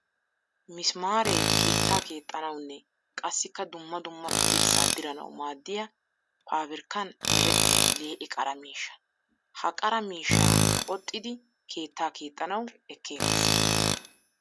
Misimaare keetta keexxanawunne qassikka dumma dumma dirssa dirannawu maadiya paabirkkan merettiya lee'e qara miishsha. Ha qara miishsha qoxxiddi keetta keexxanawu ekeetes.